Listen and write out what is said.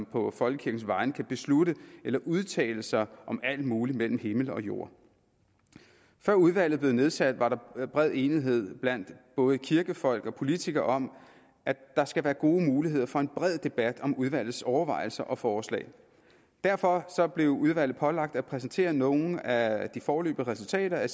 på folkekirkens vegne kan beslutte eller udtale sig om alt muligt mellem himmel og jord før udvalget blev nedsat var der bred enighed blandt både kirkefolk og politikere om at der skal være gode muligheder for en bred debat om udvalgets overvejelser og forslag derfor blev udvalget pålagt at præsentere nogle af de foreløbige resultater af